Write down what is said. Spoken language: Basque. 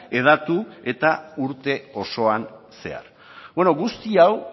hedatu eta urte osoan zehar guzti hau